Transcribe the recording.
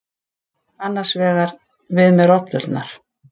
Annars vegar: við með rollurnar.